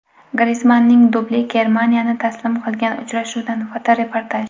Grizmanning dubli Germaniyani taslim qilgan uchrashuvdan fotoreportaj.